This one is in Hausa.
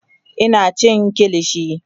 Ina cin kilishi